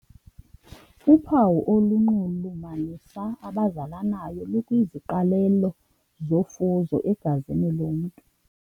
Uphawu olunxulumanisa abazalanayo lukwiziqalelo zofuzo egazini lomntu.